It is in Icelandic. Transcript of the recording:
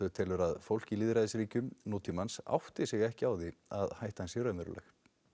telur að fólk í lýðræðisríkjum nútímans átti sig ekki á að hættan sé raunveruleg